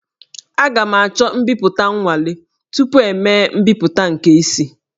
Aga m achọ mbipụta nwale tupu emee mbipụta nke isi